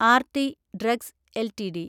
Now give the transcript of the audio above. RT drugs LTD